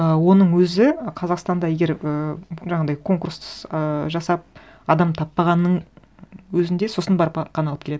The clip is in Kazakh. ы оның өзі қазақстанда егер ыыы жаңағындай конкурс ы жасап адам таппағанның өзінде сосын барып қана алып келеді